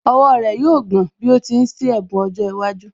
Ọwọ́ rẹ̀ yóò gbọ̀n bí ó ti ń ṣí ẹ̀bùn ọjọ́ iwájú